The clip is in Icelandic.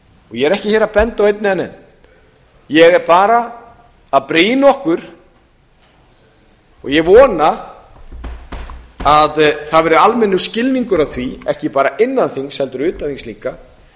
ég er ekki hér að benda á einn eða neinn ég er bara að brýna okkur og ég vona að það verði almennur skilningur á því ekki bara innan þings heldur utan þings líka